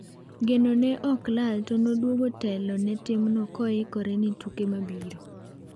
Genone ne ok olal to noduogo telo ne timno koyikore ni tuke mabiro.